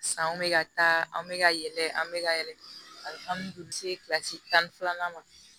San bɛ ka taa anw bɛ ka yɛlɛ an bɛ ka yɛlɛ ali kilasi tan ni filanan ma